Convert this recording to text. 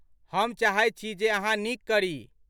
हम चाहैत छी जे अहाँ नीक करी।